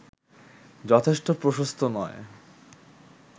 যথেষ্ট প্রশস্ত নয়